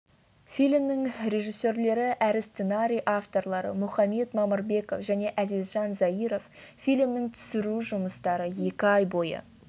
фильмнің режиссерлері әрі сценарий авторлары мұхамед мамырбеков және әзизжан заиров фильмнің түсіру жұмыстары екі ай бойы